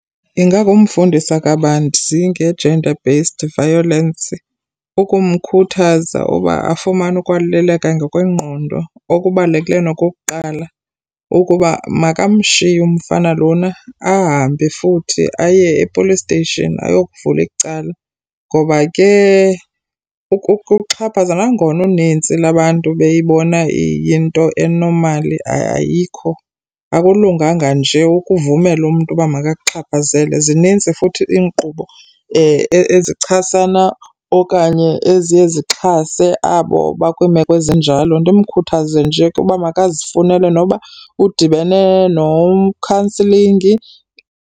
Ingakumfundisa kabanzi nge-gender based violence, ukumkhuthaza uba afumane ukwalulekwa ngokwengqondo. Okubalulekileyo nokokuqala ukuba makamshiye umfana lona ahambe futhi aye e-police station ayokuvula icala. Ngoba ke ukuxhaphaza nangona unintsi lwabantu beyibona iyinto e-normal, ayikho. Akulunganga nje ukuvumela umntu uba makakuxhaphazele. Zinintsi futhi iinkqubo ezichasana okanye eziye zixhase abo bakwiimeko ezinjalo. Ndimkhuthaze nje uba makazifunele, noba udibene no-counselling.